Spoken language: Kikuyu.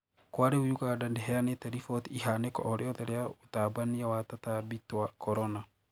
Kwa riu Uganda ndihianite riboti ihaniko o riothe riu ũtambania wa tatambi twa corona.